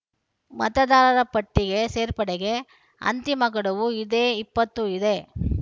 ಮತದಾರರ ಪಟ್ಟಿಗೆ ಸೇರ್ಪಡೆಗೆ ಅಂತಿಮ ಗಡುವು ಇದೇ ಇಪ್ಪತ್ತು ಇದೆ